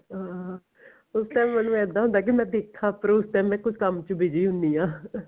ਅਹ ਹੁਣ ਤਾਂ ਮੈਨੂੰ ਇੱਦਾਂ ਹੁੰਦਾ ਕਿ ਮੈਂ ਦੇਖਾ ਪਰ ਉਸ time ਮੈਂ ਕੁੱਝ ਕੰਮ ਚ busy ਹੁੰਨੀ ਆ